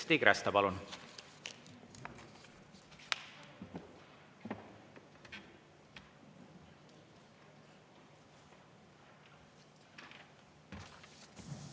Stig Rästa, palun!